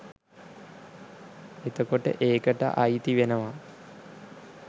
එතකොට ඒකට අයිතිවෙනවා